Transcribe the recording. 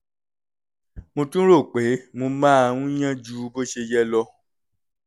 mo tún rò pé mo máa ń yán ju bó ṣe yẹ lọ